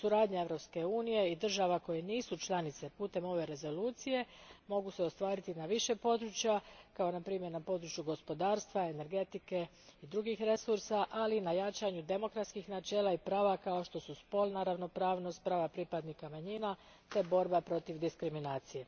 Suradnja Europske unije i država koje nisu članice putem ove Rezolucije može se ostvariti na više područja, na primjer na području gospodarstva, energetike i drugih resursa, ali i na jačanju demokratskih načela i prava kao što su spolna ravnopravnost, prava pripadnika manjina te borba protiv diskriminacije.